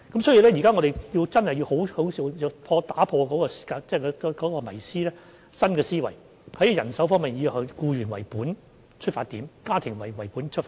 所以，我們現時真的要打破迷思，以新的思維，在人手方面以"僱員為本"及以"家庭為本"為出發點。